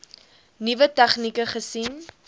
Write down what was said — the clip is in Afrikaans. nuwe tegnieke gesien